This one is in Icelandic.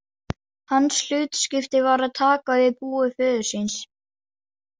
Hans hlutskipti var að taka við búi föður síns.